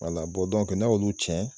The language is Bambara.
Wala bɔn dɔnkɛ n'a y'olu cɛn